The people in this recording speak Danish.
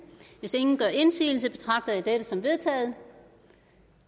hvis ingen gør indsigelse betragter jeg dette som vedtaget